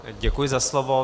Děkuji za slovo.